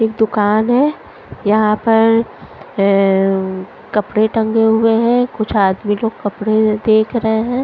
एक दुकान है यहाँ पर एए कपड़े टंगे हुए हैं कुछ आदमी लोग कपड़े देख रहे हैं।